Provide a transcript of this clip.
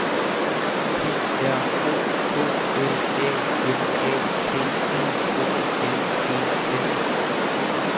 P R O K L A M A T I O N E N